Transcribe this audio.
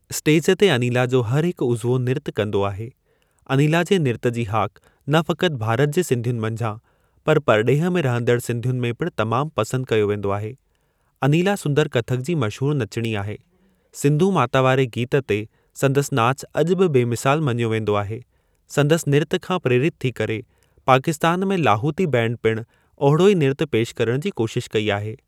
Stage ते अनीला जो हर हिकु उज़्वो निर्तु कंदो आहे। अनीला जे निर्त जी हाक न फ़क़ति भारत जे सिंधियुनि मंझां पर परॾेह में रहंदड़ सिंधियुनि में पिणु तमाम पसंद कयो वेंदो आहे। अनीला सुंदर कथक जी मशहूर नचिणी आहे। सिंधू माता वारे गीत ते संदसि नाचु अॼु बि बेमिसाल मञियो वेंदो आहे। संदसि निर्तु खां प्रेरितु थी करे, पाकिस्तान में लाहूती बैंड पिणु ओहिड़ो ई निर्तु पेश करण जी कोशिश कई आहे।